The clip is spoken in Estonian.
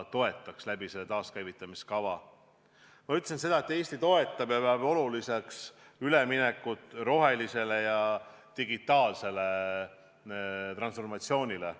Ma ütlesin seda, et Eesti toetab ja peab oluliseks üleminekut rohelisele ja digitaalsele transformatsioonile.